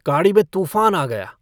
गाड़ी में तूफान आ गया।